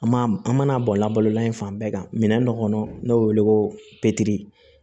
An m'a an mana bɔn labalola in fan bɛɛ kan minɛn dɔ kɔnɔ n'o be wele ko